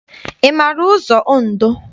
Ị maara ụzọ Ondo?